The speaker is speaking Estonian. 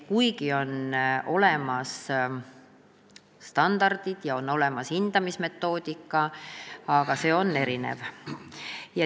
Kuigi on olemas standardid ja on olemas hindamismetoodika, on see erinev.